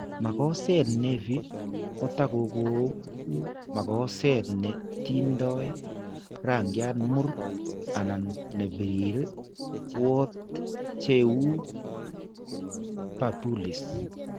Mokoseet nevi kotaku ko uu mokoseet ne tindo raankyaat mur, anan ne biriir, wort che uu papules.